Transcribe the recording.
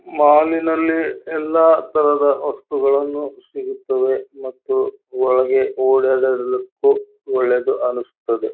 ಮಾಲಿನಲ್ಲಿ ಎಲ್ಲಾ ತರದ ವಸ್ತುಗಳನ್ನು ಸಿಗುತ್ತದೆ ಮತ್ತು ಒಳಗೆ ಓಡಾಡುವುದಕ್ಕೂ ಒಳ್ಳೇದು ಅನ್ನಿಸ್ತದೆ.